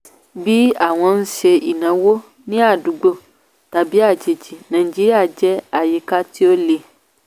bí àwọn ń ṣe ìnáwó ní àdúgbò tàbí àjèjì nàìjíríà jẹ́ àyíká tí ó le.